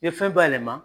I ye fɛn bayɛlɛma